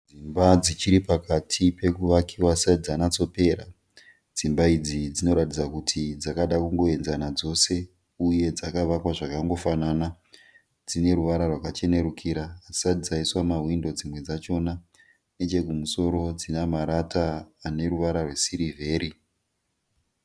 Dzimba dziripakati pekuvakiwa hadzisati dzanyatsopera, dzimba idzi dzinoratidza kuti dzakada kutoenzana dzese uye dzakavakwa zvakangofanana dzine ruvara rwakachenerukira hadzisati dzaiswa mahwindo dzimwe dzachona nechekumusoro dzine marata esiriveri.